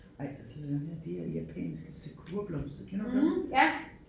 Ej og så der dem her det er japanske sakurablomster kender du dem?